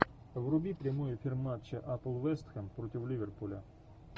вруби прямой эфир матча апл вест хэм против ливерпуля